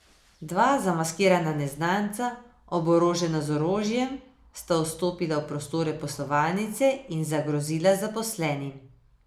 Dva zamaskirana neznanca, oborožena z orožjem, sta vstopila v prostore poslovalnice in zagrozila zaposlenim.